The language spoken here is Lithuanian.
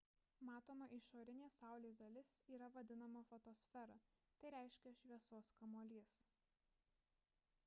matoma išorinė saulės dalis yra vadinama fotosfera tai reiškia šviesos kamuolys